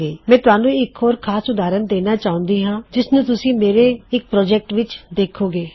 ਮੈ ਤੁਹਾਣੁ ਇੱਕ ਖਾਸ ਉਦਾਹਰਨ ਦੇਣਾ ਚਾਹੁਂਦੀ ਹਾਂ ਜਿਸਨੂੰ ਤੁਸੀ ਮੇਰੇ ਇੱਕ ਪ੍ਰੋਜੈਕਟ ਵਿੱਚ ਵੀ ਦੇੱਖੋਂਗੇ